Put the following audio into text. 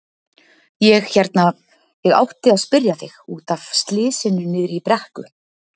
Ég hérna. ég átti að spyrja þig. út af slysinu niðri í brekku.